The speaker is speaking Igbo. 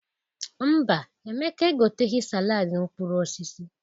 Mba, Emeka egoteghi saladị mkprur osisi.